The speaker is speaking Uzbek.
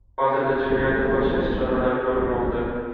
Hozirda jinoyatni fosh etish choralari ko‘rilmoqda.